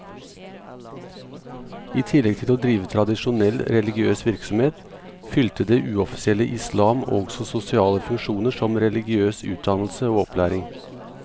I tillegg til å drive tradisjonell religiøs virksomhet, fylte det uoffisielle islam også sosiale funksjoner som religiøs utdannelse og opplæring.